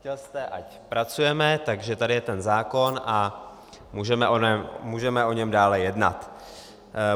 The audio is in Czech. Chtěl jste, ať pracujeme, takže tady je ten zákon a můžeme o něm dále jednat.